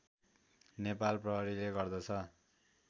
नेपाल प्रहरीले गर्दछ